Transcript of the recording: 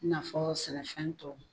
Fɔ sɛnɛfɛn tɔ